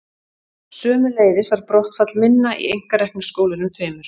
Sömuleiðis var brottfall minna í einkareknu skólunum tveimur.